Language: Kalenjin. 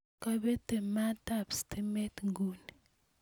Kabete maatab stimet nguni